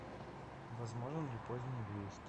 возможен ли поздний выезд